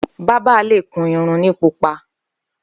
Bàbà lé kún irún ni púpá